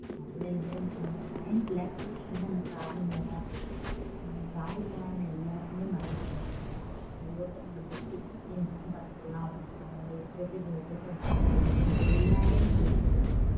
நம்ம mind relaxation அந்த travelling ல தான் இருக்குது ஏன்னா travel பண்ண நம்ம எல்லாத்தையுமே மறந்துடலாம்